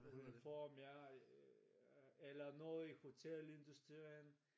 Uniform ja eller noget i hotelindustrien